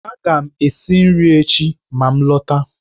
Aga m esi nri echi ma m lọta.